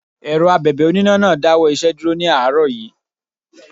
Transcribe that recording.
Èrọ Abẹ̀bẹ̀ oníná náà dáwọ́ iṣẹ́ dúró ní àárọ̀ yí.